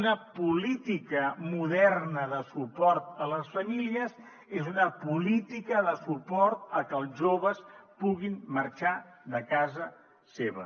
una política moderna de suport a les famílies és una política de suport a que els joves puguin marxar de casa seva